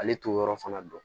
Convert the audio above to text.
Ale t'o yɔrɔ fana dɔn